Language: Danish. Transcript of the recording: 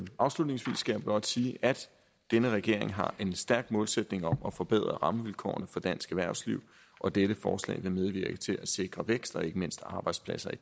afslutningsvis skal jeg blot sige at denne regering har en stærk målsætning om at forbedre rammevilkårene for dansk erhvervsliv og dette forslag vil medvirke til at sikre vækst og ikke mindst arbejdspladser i